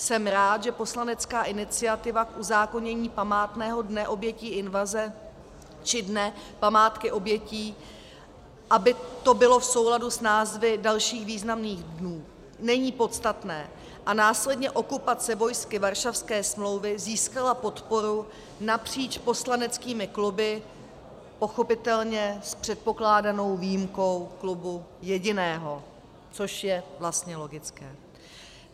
Jsem rád, že poslanecká iniciativa k uzákonění Památného dne obětí invaze, či Dne památky obětí, aby to bylo v souladu s názvy dalších významných dnů, není podstatné, a následně okupace vojsky Varšavské smlouvy získala podporu napříč poslaneckými kluby, pochopitelně s předpokládanou výjimkou klubu jediného, což je vlastně logické.